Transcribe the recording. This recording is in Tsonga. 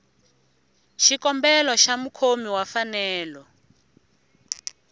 xikombelo xa mukhomi wa mfanelo